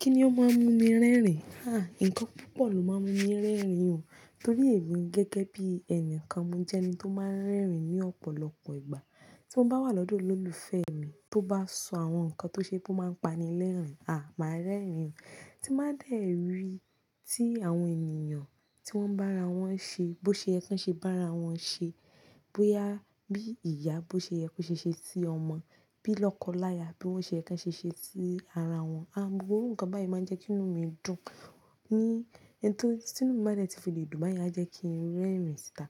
Kíni ó máa ń mú mi rẹ́rìn? Ǹkan púpọ̀ ló máa ń mú mi rẹ́rìn o, torí èmi gẹ́gẹ́ bí ẹni kan, mo jẹ́ ẹni tó máa ń rẹ́rìn ní ọ̀pọ̀lọpọ̀ ìgbà. Tí mo bá wà lọ́dọ̀ olólùfẹ́ mi, tó bá sọ àwọn ǹkan tó ṣe pé ó máa ń pani lẹ́rìn, máa rẹ́rìn. Tí nbá dé rí tí àwọn ènìyàn tí wọ́n bá ara wọn ṣe, bó ṣe yẹ kan ṣe bara wọn ṣe, bóyá bí ìyá bó ṣe yẹ ko ṣe ṣe sí ọmọ, bí lọ́kọ láya bi won ṣe yẹ kan ṣe ṣe sí ara wọn, gbogbo iru ǹkan báyen máa ń jẹ́ kí inú mi dùn. Ni, tí inú mi bade ti fi lè dùn bayen, a jẹ́ kí n rẹ́rìn síta.